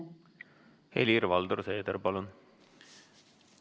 Helir-Valdor Seeder, palun!